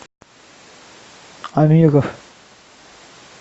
амиров